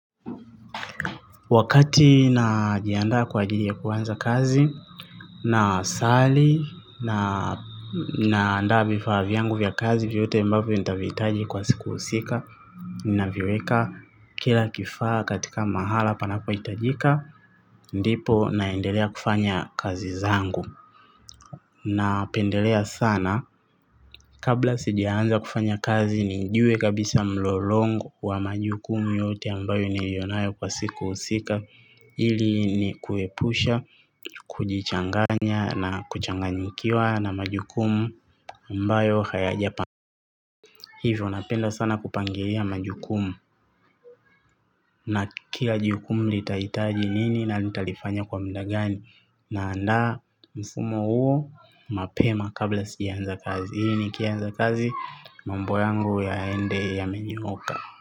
Wakati najiandaa kwa ajili ya kuanza kazi na sali na naandaa vifaa vyangu vya kazi vyote mbavyo nitavihitaji kwa siku husika. Na viweka kila kifaa katika mahala panapohitajika ndipo naendelea kufanya kazi zangu. Napendelea sana kabla sijaanza kufanya kazi nijue kabisa mlolongo wa majukumu yote ambayo niliyonayo kwa siku husika. Hili ni kuepusha kujichanganya na kuchanganyikiwa na majukumu ambayo hayajapa. Hivyo napenda sana kupangilia majukumu. Na kila jukumu nitahitaji nini. Na nitalifanya kwa muda gani. Naandaa mfumo huo mapema kabla sijaanza kazi ili nikianza kazi mambo yangu yaende yamenyooka.